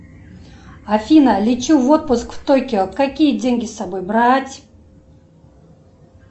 афина лечу в отпуск в токио какие деньги с собой брать